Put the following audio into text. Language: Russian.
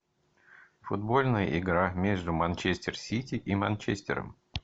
футбольная игра между манчестер сити и манчестером